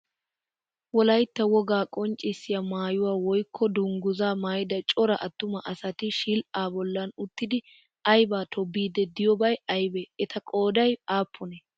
Wolaytta wogaa qonccissiya maayuwa woykko dungguzzaa maayida cora attuma asati shil"aa bollan uttidi ayibaa to biiddi diyoobay ayibee? Eta qooday aappunee?